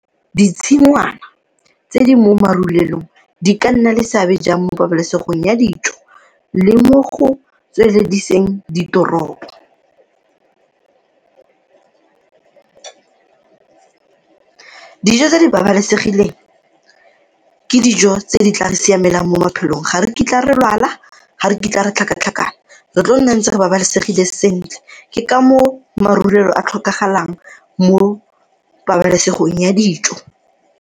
Ditshingwana tse di mo marulelong di ka nna le seabe jang mo pabalesegong ya dijo le mo go tswelediseng ditoropo? Dijo tse di babalesegileng ke dijo tse di tla siamelang mo maphelong ga re kitla re lwala, ga re kitla re tlhakatlhakana, re tlo nna ntse re babalesegile sentle ke ka moo marulelo a tlhokagalang mo pabalesegong ya dijo.